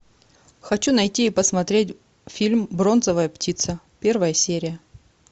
хочу найти и посмотреть фильм бронзовая птица первая серия